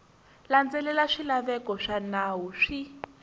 landzelela swilaveko swa nawu swi